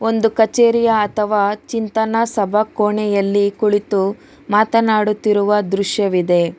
ಒಂದು ಕಚೇರಿ ಅಥವಾ ಚಿಂತನ ಸಭಾ ಕೋಣೆಯಲ್ಲಿ ಕುಳಿತು ಮಾತನಾಡುತ್ತಿರುವ ದೃಶ್ಯವಿದೆ.